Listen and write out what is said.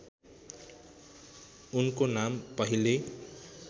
उनको नाम पहिल्यै